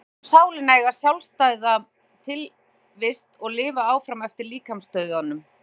Hann telur sálina eiga sjálfstæða tilvist og lifa áfram eftir líkamsdauðann.